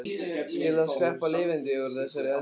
Skyldi hann sleppa lifandi úr þessari eldraun?